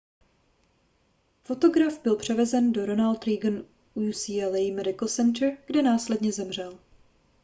fotograf byl převezen do ronald reagan ucla medical center kde následně zemřel